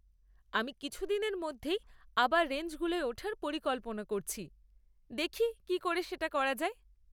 আমি কিছুদিনের মধ্যেই আবার রেঞ্জগুলোয় ওঠার পরিকল্পনা করছি, দেখি কী করে সেটা করা যায়।